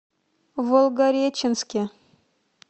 волгореченске